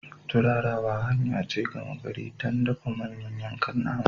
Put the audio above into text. Turarawa hanya ce gama gari don dafa manyan yankan nama.